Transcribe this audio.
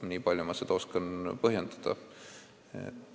Niipalju ma oskan seda põhjendada.